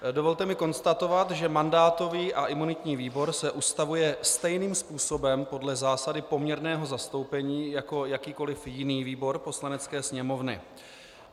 Dovolte mi konstatovat, že mandátový a imunitní výbor se ustavuje stejným způsobem podle zásady poměrného zastoupení jako jakýkoliv jiný výbor Poslanecké sněmovny.